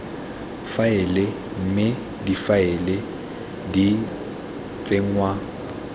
faela mme difaele di tsenngwa